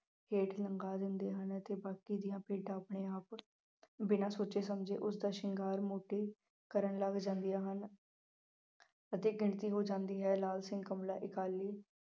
ਹੇਠ ਲਮਕਾ ਦਿੰਦੇ ਹਨ ਅਤੇ ਬਾਕੀ ਦੀਆਂ ਭੇਡਾਂ ਆਪਣੇ ਆਪ ਬਿਨਾ ਸੋਚੇ ਸਮਝੇ ਉਸਦਾ ਸ਼ਿੰਗਾਰ ਮੁੰਨਤੀ ਕਰਨ ਲੱਗ ਜਾਂਦੀਆਂ ਹਨ ਅਤੇ ਗਿਣਤੀ ਹੋ ਜਾਂਦੀ ਹੈ ਲਾਲ ਸਿੰਘ ਕਮਲਾ ਅਕਾਲੀ